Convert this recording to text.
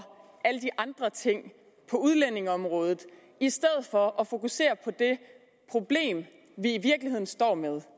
alle de andre ting på udlændingeområdet i stedet for at fokusere på det problem vi i virkeligheden står med